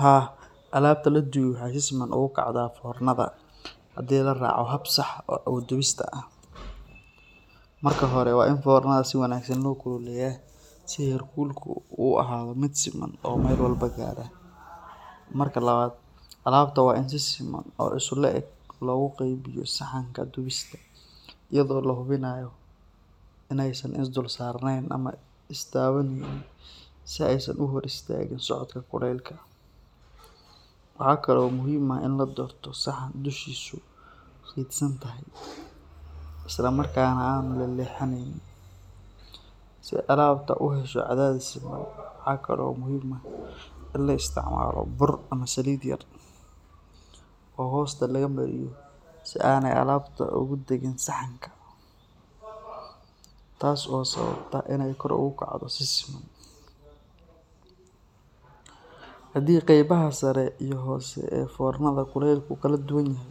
Haa, alabta la dubey waxay si siman ugu kacdaa fornada haddii la raaco hab sax ah oo dubista ah. Marka hore, waa in fornada si wanaagsan loo kululeeyaa si heerkulku u ahaado mid siman oo meel walba gaadha. Marka labaad, alabta waa in si siman oo isu le’eg loogu qaybiyo saxanka dubista, iyadoo la hubinayo in aysan is dul saarnayn ama is taabanayn si aysan u hor istaagin socodka kulaylka. Waxa kale oo muhiim ah in la doorto saxan dushiisu fidsan tahay, isla markaana aanu leexleexanayn, si alabta ay u hesho cadaadis siman. Waxa kale oo muhiim ah in la isticmaalo bur ama saliid yar oo hoosta laga mariyo si aanay alabtu ugu dhaggin saxanka, taas oo sababta inay kor ugu kacdo si siman. Haddii qaybaha sare iyo hoose ee fornada kulaylkoodu kala duwan yahay,